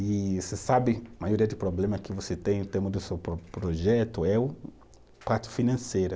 E você sabe, a maioria dos problemas que você tem, em termos do seu próprio projeto, é o, parte financeira.